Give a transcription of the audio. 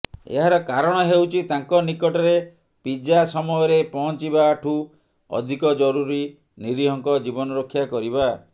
ଏହାର କାରଣ ହେଉଛି ତାଙ୍କ ନିକଟରେ ପିଜା ସମୟରେ ପହଂଚିବାଠୁ ଅଧିକ ଜରୁରୀ ନିରୀହଙ୍କ ଜୀବନ ରକ୍ଷା କରିବା